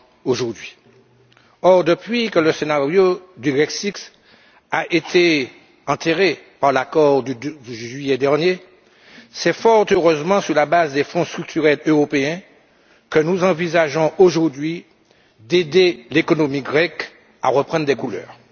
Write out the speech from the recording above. aujourd'hui. Or, depuis que le scénario du Grexit a été enterré par l'accord de juillet dernier, c'est fort heureusement sur la base des Fonds structurels européens que nous envisageons aujourd'hui d'aider l'économie grecque à reprendre des couleurs.